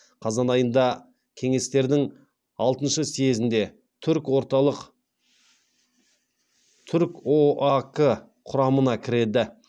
қазан айында кеңестердің алтыншы съезінде түркоак құрамына кіреді